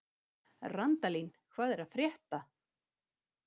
Randalín, hvað er að frétta?